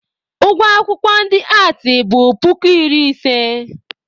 Ụgwọ akwụkwọ ndị aatị bụ puku iri ise.